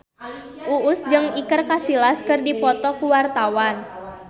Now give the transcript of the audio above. Uus jeung Iker Casillas keur dipoto ku wartawan